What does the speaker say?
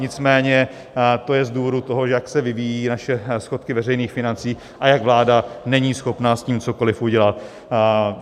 Nicméně to je z důvodu toho, jak se vyvíjí naše schodky veřejných financí a jak vláda není schopna s tím cokoli udělat.